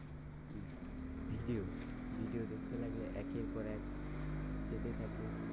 Video video দেখতে লাগলে একের পর এক যেতে থাকে।